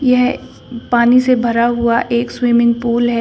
यह पानी से भरा हुआ एक स्विमिंग पूल है।